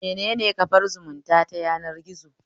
Menene kafar zumunta ta yanargizo?